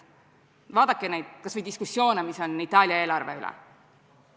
Vaadake kas või diskussioone, mida on peetud Itaalia eelarve üle!